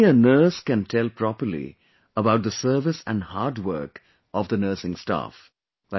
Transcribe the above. Only a nurse can tell properly about the service and hard work of the nursing staff